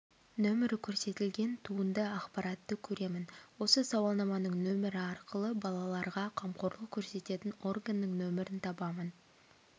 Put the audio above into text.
нөмірі көрсетілген туынды ақпаратты көремін осы сауалнаманың нөмірі арқылы балаларға қамқорлық көрсететін органның нөмірін табамын